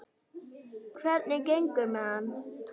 Hvernig gengur með hann?